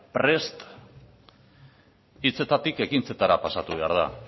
prest hitzetatik ekintzetara pasatu behar da